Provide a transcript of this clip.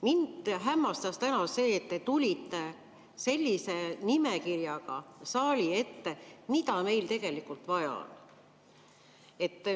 Mind hämmastas täna see, et te tulite saali ette sellise nimekirjaga, mida meil tegelikult vaja on.